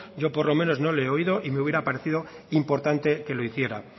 yo por lo menos no le he oído y me hubiera parecido importante que lo hiciera